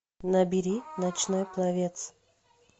набери ночной пловец